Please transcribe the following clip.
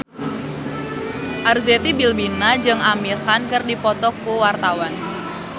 Arzetti Bilbina jeung Amir Khan keur dipoto ku wartawan